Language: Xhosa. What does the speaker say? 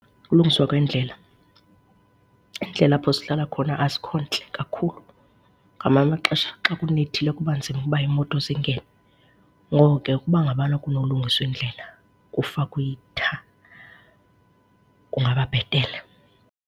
Ukulungiswa kweendlela, iindlela apho sihlala khona azikho ntle kakhulu, ngamanye amaxesha xa kunethile kuba nzima uba iimoto zingene. Ngoko ke ukuba ngabana kunokulingiswa iindlela, kufakwe itha, kungaba bhetele.